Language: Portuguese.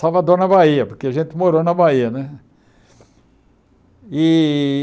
Salvador na Bahia, porque a gente morou na Bahia né e.